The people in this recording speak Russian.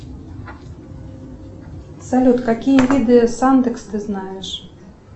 салют какие виды сандекс ты знаешь